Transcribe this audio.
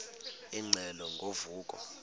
ingxelo ngo vuko